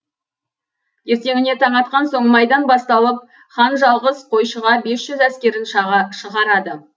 ертеңіне таң атқан соң майдан басталып хан жалғыз қойшыға бес жүз әскерін шығарады